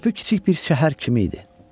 Körpü kiçik bir şəhər kimi idi.